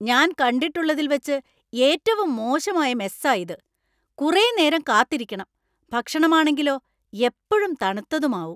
ഞാൻ കണ്ടിട്ടുള്ളതിൽ വച്ച് ഏറ്റവും മോശമായ മെസ്സാ ഇത്. കുറെ നേരം കാത്തിരിക്കണം, ഭക്ഷണം ആണെങ്കിലോ എപ്പഴും തണുത്തതും ആവും.